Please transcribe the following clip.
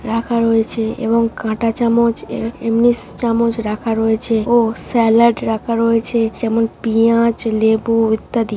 রাখা রয়েছে এবং কাঁটা চামচ এমনি চামচ রাখা রয়েছে ও স্যালাড রাখা রয়েছে যেমন পিয়াঁজ লেবু ইত্যাদি।